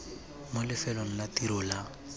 mo lefelong la tiro la